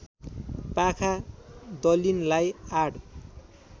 पाखा दलिनलाई आड